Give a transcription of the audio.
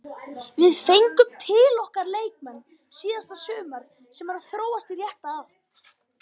Við fengum til okkar leikmenn síðasta sumar sem eru að þróast í rétta átt.